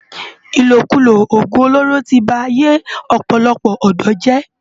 Ilókúló ógún ólóró ti bá áiyé òpòlòpò òdò jè